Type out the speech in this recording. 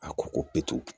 A ko ko petu